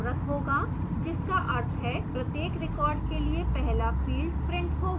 जिसका अर्थ है प्रत्येक record के लिए पहला field printed होगा